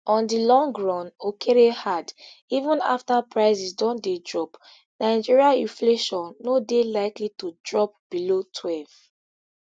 on di long run okere add even after prices don dey drop nigeria inflation no dey likely to drop below twelve